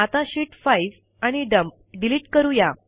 आता शीत 5 आणि dump delete करूया